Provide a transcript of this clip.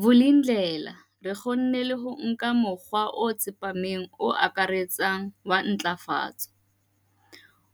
Vulindlela, re kgonne le ho nka mokgwa o tsepameng o akaretsang wa ntlafatso,